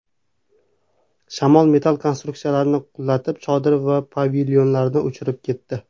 Shamol metall konstruksiyalarni qulatib, chodir va pavilyonlarni uchirib ketdi.